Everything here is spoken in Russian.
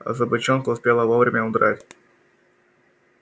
а собачонка успела вовремя удрать